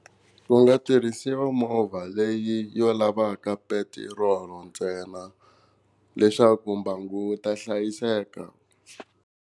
Ku nga tirhisiwa movha leyi yo lavaka petirolo ntsena leswaku mbangu wu ta hlayiseka.